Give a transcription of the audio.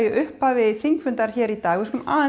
upphafi þingfundar í dag við skulum